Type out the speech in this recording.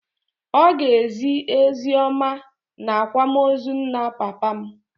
Ọ ga-ezi oziọma n'akwamozu nna papa m.